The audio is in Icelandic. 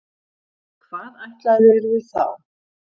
Hvað ætlaðirðu þá?